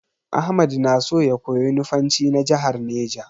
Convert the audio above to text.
Ahmad na so ya koyi Nufanci na jahar Neja.